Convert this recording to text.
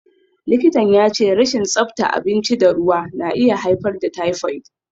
Likitan ya ce rashin tsabta abinci da ruwa na iya haifar da typhoid.